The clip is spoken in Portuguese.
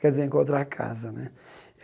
Quer dizer, encontrar a casa né.